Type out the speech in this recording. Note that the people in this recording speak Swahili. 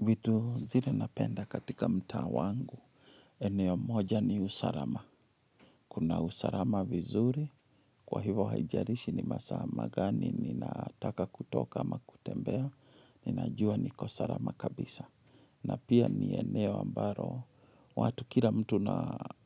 Vitu zile napenda katika mtaa wangu, eneo moja ni usalama. Kuna usalama vizuri, kwa hivyo haijalishi ni masaa ma. Gani ninataka kutoka ama kutembea, ninajua niko salama kabisa. Na pia ni eneo ambalo, watu kila mtu